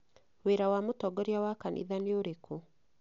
Wĩra wa mũtongoria wa kanitha nĩũrĩkũ?